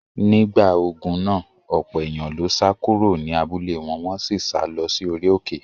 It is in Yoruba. Nígbà ogun náà, ọ̀pọ̀ èèyàn ló sá kúrò ní abúlé wọn, wọ́n sì sá lọ sí orí òkè.